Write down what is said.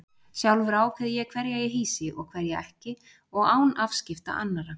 Sjálfur ákveð ég hverja ég hýsi og hverja ekki og án afskipta annarra.